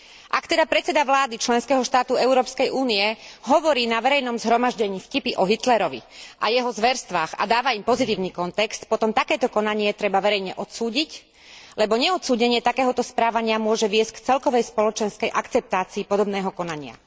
Ak teda predseda vlády členského štátu Európskej únie hovorí na verejnom zhromaždení vtipy o Hitlerovi a jeho zverstvách a dáva im pozitívny kontext, potom takéto konanie treba verejne odsúdiť, lebo neodsúdenie takéhoto správania môže viesť k celkovej spoločenskej akceptácii podobného konania.